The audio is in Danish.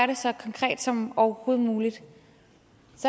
det så konkret som overhovedet muligt